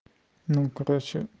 ну короче